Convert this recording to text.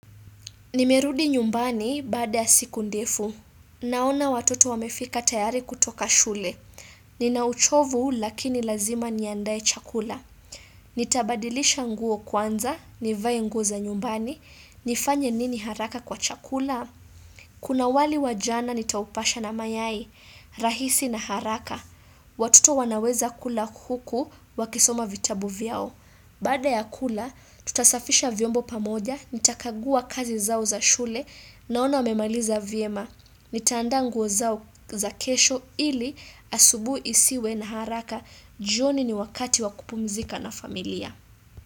Nimerudi nyumbani baada ya siku ndefu. Naona watoto wamefika tayari kutoka shule. Nina uchovu lakini lazima niandae chakula. Nitabadilisha nguo kwanza, nivae nguo za nyumbani, nifanye nini haraka kwa chakula. Kuna wali wa jana nitaupasha na mayai, rahisi na haraka. Watoto wanaweza kula huku wakisoma vitabu vyao. Baada ya kula, tutasafisha vyombo pamoja, nitakagua kazi zao za shule naona wamemaliza vyema. Nitaandaa nguo zao za kesho ili asubui isiwe na haraka jioni ni wakati wa kupumizika na familia.